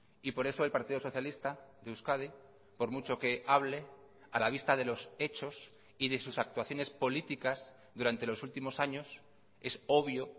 y por eso el partido socialista de euskadi por mucho que hable a la vista de los hechos y de sus actuaciones políticas durante los últimos años es obvio